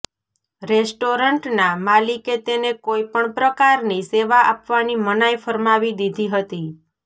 રેસ્ટોરન્ટના માલિકે તેને કોઈ પણ પ્રકારની સેવા આપવાની મનાઈ ફરમાવી દીધી હતી